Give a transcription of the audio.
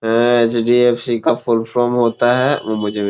अ एन एच.डी.एफ.सी. का full form होता है वो मुझे--